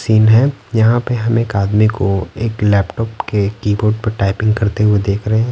Scene है यहाँ पे हम एक आदमी को एक लैपटॉप के कीबोर्ड पर टाइपिंग करते हुए देख रहे हैं।